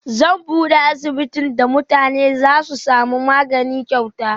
Zan bude asibitin da mutane Zasu samu magani kyauta